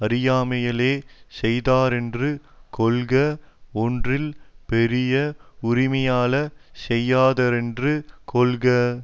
அறியாமையாலே செய்தாரென்று கொள்க ஒன்றில் பெரிய உரிமையாலே செய்தாரென்று கொள்க